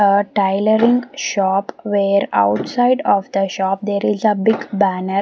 uh tailoring shop where outside of the shop there is a big banner.